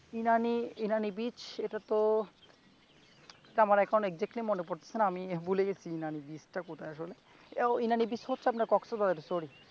Inani Inani beach এটা তো তেমন exactly মনে পড়তেছে না আমি ভুলে গেছি ইনানী বিচ টা কোথায় আসলে । ইনানী বিচ হচ্ছে আপনার কক্সবাজারের sorry ।